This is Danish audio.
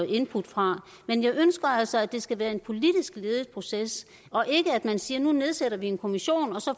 input fra men jeg ønsker altså at det skal være en politisk ledet proces og ikke at man siger at nu nedsætter vi en kommission og så